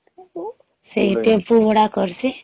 ସେ ଟ୍ୱେମ୍ପୂ ଭଡା କରସି